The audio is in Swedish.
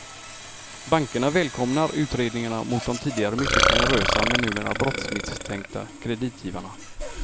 Bankerna välkomnar utredningarna mot de tidigare mycket generösa men numera brottsmisstänkta kreditgivarna.